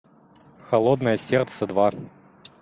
холодное сердце два